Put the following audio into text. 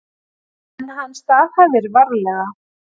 En hann staðhæfir varlega.